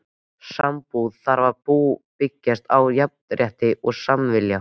Sambúð þarf að byggjast á jafnrétti og samningsvilja.